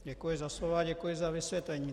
Děkuji za slovo a děkuji za vysvětlení.